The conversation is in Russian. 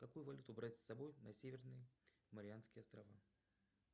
какую валюту брать с собой на северные марианские острова